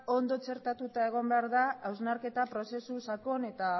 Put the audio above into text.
ondo txertatua egon behar da hausnarketa prozesu sakon eta